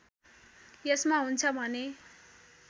यसमा हुन्छ भने